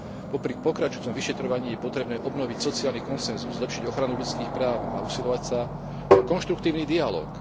Popri pokračujúcom vyšetrovaní je potrebné obnoviť sociálny konsenzus, zlepšiť ochranu ľudských práv a usilovať sa o konštruktívny dialóg.